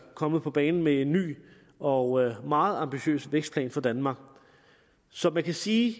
kommet på banen med en ny og meget ambitiøs vækstplan for danmark så man kan sige